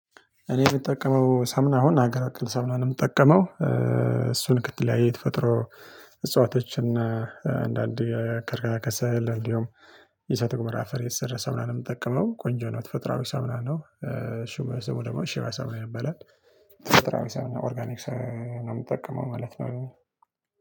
እኔ የምጠቀመው ሳሙና አሁን ሀገር አክል ሳሙና የምጠቀመው እሱን ከተለያየ ተፈጥሮ እጽዋቶችን አና አንዳንዴ የክራ ከሰል እንዲሁም የሳተ ገሞራ አፈር የተሰራ ሳሙና ነው ምጠቀመው ቆንጆ ነው ተፈጥራዊ ሳሙና ነው። ሽበሰቡ ደግሞ ሽበሰቡ ይበላል። ተፈጥራዊ ሳምና ኦርጋኒክ ነው ምጠቀመው ማለት ነው